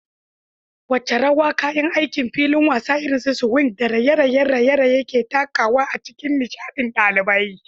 Wace rawa kayan aikin filin wasa irin su swings da raye-rayen raye-raye ke takawa a cikin nishaɗin ɗalibai?